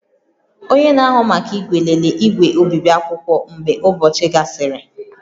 Onye na-ahụ maka igwe, lelee igwe obibi akwụkwọ mgbe ụbọchị gasịrị